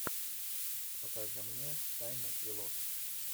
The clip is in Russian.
покажи мне тайны и ложь